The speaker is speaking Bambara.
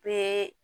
Bɛɛ